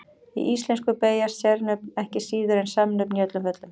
Í íslensku beygjast sérnöfn ekki síður en samnöfn í öllum föllum.